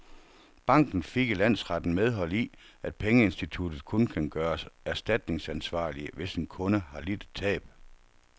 Banken fik i landsretten medhold i, at pengeinstitutter kun kan gøres erstatningsansvarlige, hvis en kunde har lidt et tab.